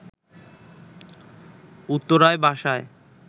উত্তরায় বাসায়